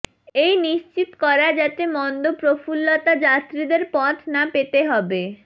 এই নিশ্চিত করা যাতে মন্দ প্রফুল্লতা যাত্রীদের পথ না পেতে হবে